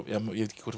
ég veit ekki hvort